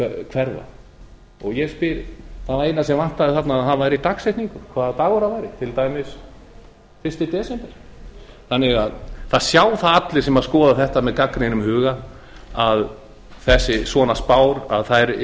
hverfa það eina sem vantaði þarna var dagsetningin hvaða dag það gerðist til dæmis fyrsta desember það sjá allir sem skoða þetta með gagnrýnum huga að svona spár